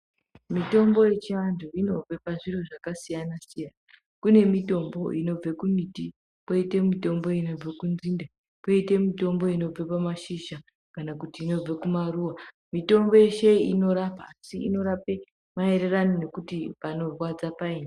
Mitombo yechiantu inobve pazviro zvakasiyana siyana kune mitombo inobve kumito kwoite mutombo inobve kunzinde kwoite mutombo inobve pamashizha kana kuti inobve kumaruwa mutombo yeshe iyi inorapa asi inorape maererano nekuti panorwadza paini.